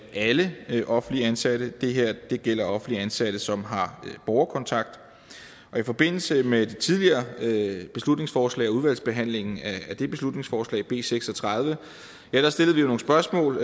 alle offentligt ansatte det her gælder offentligt ansatte som har borgerkontakt i forbindelse med det tidligere beslutningsforslag og udvalgsbehandlingen af det beslutningsforslag b seks og tredive stillede vi nogle spørgsmål